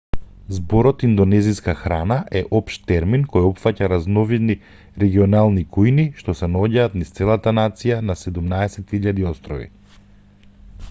зборот индонезиска храна еден општ термин кој опфаќа разновидни регионални кујни што се наоѓаат низ целата нација на 17.000 острови